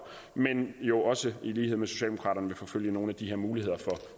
men jo også i lighed med socialdemokraterne vil forfølge nogle af de her muligheder for